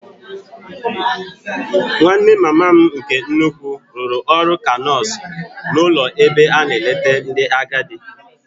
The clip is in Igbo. Nwanne mama m nke nnukwu rụrụ ọrụ ka nọọsụ n'ụlọ ebe a na-eleta ndị agadi.